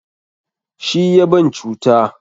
Shi ya ban cuta.